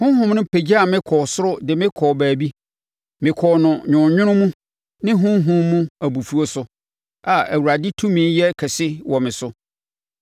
Honhom no pagyaa me kɔɔ soro de me kɔɔ baabi. Mekɔɔ no nwononwono mu ne honhom mu abufuo so, a na Awurade tumi yɛ kɛse wɔ me so.